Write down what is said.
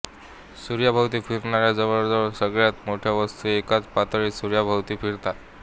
सूर्याभोवती फिरणाऱ्या जवळजवळ सगळ्या मोठ्या वस्तू एकाच पातळीत सूर्याभोवती फिरतात